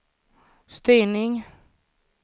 styrning